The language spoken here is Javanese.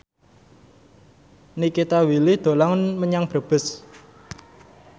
Nikita Willy dolan menyang Brebes